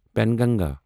Penganga